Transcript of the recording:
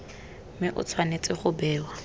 mme e tshwanetse go bewa